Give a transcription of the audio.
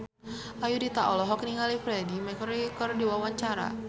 Ayudhita olohok ningali Freedie Mercury keur diwawancara